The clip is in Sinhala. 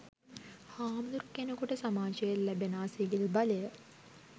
හාමුදුරුකෙනෙකුට සමාජයේ ලැබෙනා සිවිල් බලය